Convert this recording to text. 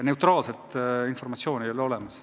Neutraalset informatsiooni ei ole olemas.